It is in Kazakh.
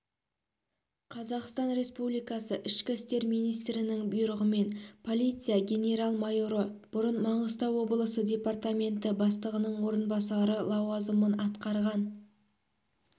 қазақстан республикасы ішкі істер министрінің бұйрығымен полиция генерал-майоры бұрын маңғыстау облысы департаменті бастығының орынбасары лауазымын атқарған